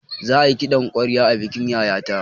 Za ayi kiɗan ƙwarya a bikin yayata